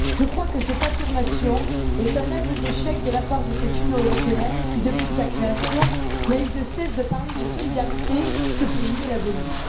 Je crois que cette affirmation est un aveu d'échec de la part de cette Union européenne qui, depuis sa création, n'a eu de cesse de parler de solidarité que pour mieux l'abolir.